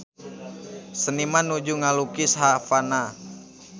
Seniman nuju ngalukis Havana